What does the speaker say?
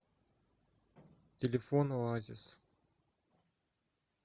телефон оазис